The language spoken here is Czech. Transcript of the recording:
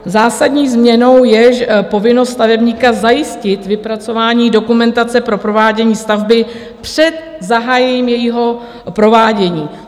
Zásadní změnou je povinnost stavebníka zajistit vypracování dokumentace pro provádění stavby před zahájením jejího provádění.